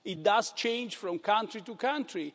It does change from country to country